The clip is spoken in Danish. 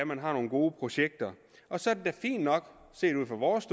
man har nogle gode projekter og så er det da fint nok set ud fra vores